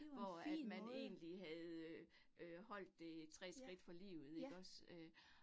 Hvor at man egentlig havde øh øh holdt det 3 skridt fra livet ikke også øh